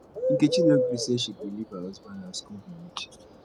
nkechi no gree say she go leave her husband house go be witch